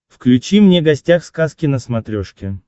включи мне гостях сказки на смотрешке